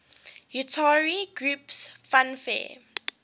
utari groups fanfare